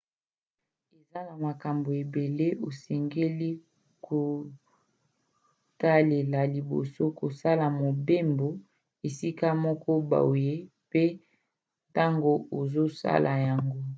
eza na makambo ebele osengeli kotalela liboso kosala mobembo esika moko boye mpe ntango ozosala yango